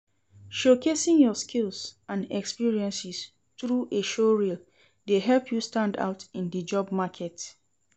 Showcasing your skills and experiences through a showreel dey help you stand out in di job market.